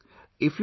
Yes ...